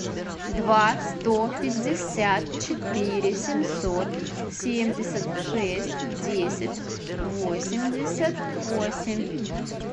два сто пятьдесят четыре семьсот семьдесят шесть десять восемьдесят восемь